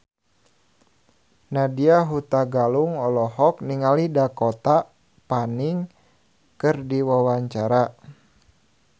Nadya Hutagalung olohok ningali Dakota Fanning keur diwawancara